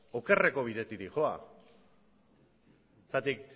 okerreko bidetik doa zergatik